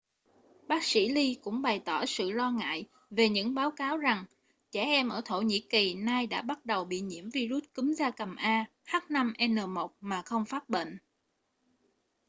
bác sĩ lee cũng bày tỏ sự lo ngại về những báo cáo rằng trẻ em ở thổ nhĩ kỳ nay đã bắt đầu bị nhiễm vi-rút cúm gia cầm a h5n1 mà không phát bệnh